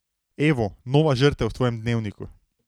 Evo, nova žrtev v tvojem dnevniku.